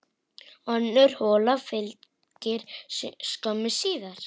Önnur hola fylgdi skömmu síðar.